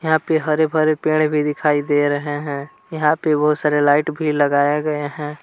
यहां पे हरे-भरे पेड़ भी दिखाई दे रहे हैं यहां पे बहोत सारे लाइट भी लगाया गए हैं।